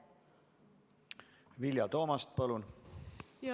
Vilja Toomast, palun!